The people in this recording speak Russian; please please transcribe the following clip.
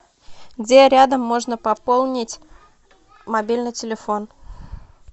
где рядом можно пополнить мобильный телефон